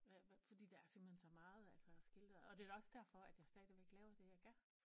Hvad hvad fordi der er simpelthen så meget altså og det er da også derfor at jeg stadigvæk laver det jeg gør